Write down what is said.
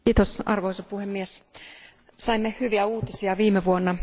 Arvoisa puhemies, saimme hyviä uutisia viime vuonna.